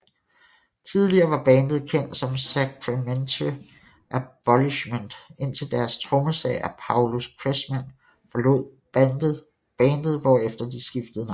Tidligere var bandet kendt som Sacramentary Abolishment indtil deres trommeslager Paulus Kressman forlod bandet hvorefter de skiftede navn